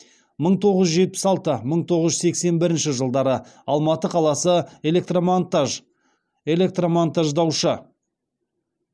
мың тоғыз жүз жетпіс алты мың тоғыз жүз сексен бірінші жылдары алматы қаласы электромонтаж электромонтаждаушы